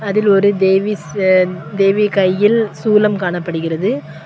அதில் ஒரு தேவி தேவி கையில் சூலம் காணப்படுகிறது.